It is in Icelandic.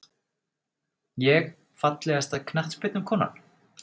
Ég Fallegasta knattspyrnukonan?